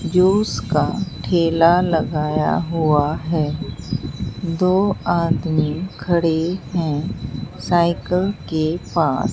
Juice का ठेला लगाया हुआ है दो आदमी खड़े हैं साइकल के पास।